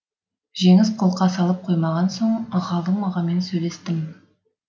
жеңіс қолқа салып қоймаған соң ғалым ағамен сөйлестім